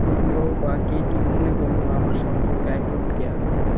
বলল বা কে কী মনে করলো আমার সম্পর্কে I don't care।